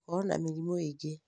gũkorwo na mĩrimũ ĩngĩ